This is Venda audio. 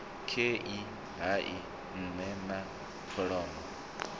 kwae hai nne na kholomo